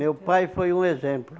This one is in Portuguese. Meu pai foi um exemplo.